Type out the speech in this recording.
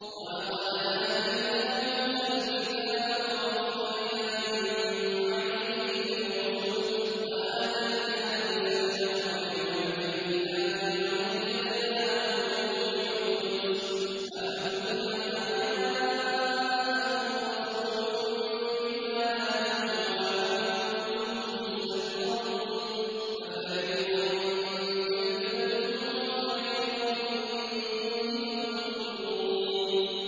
وَلَقَدْ آتَيْنَا مُوسَى الْكِتَابَ وَقَفَّيْنَا مِن بَعْدِهِ بِالرُّسُلِ ۖ وَآتَيْنَا عِيسَى ابْنَ مَرْيَمَ الْبَيِّنَاتِ وَأَيَّدْنَاهُ بِرُوحِ الْقُدُسِ ۗ أَفَكُلَّمَا جَاءَكُمْ رَسُولٌ بِمَا لَا تَهْوَىٰ أَنفُسُكُمُ اسْتَكْبَرْتُمْ فَفَرِيقًا كَذَّبْتُمْ وَفَرِيقًا تَقْتُلُونَ